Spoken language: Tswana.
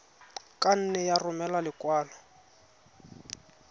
ka nne ya romela lekwalo